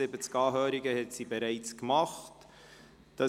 71 Anhörungen sind bereits durchgeführt worden.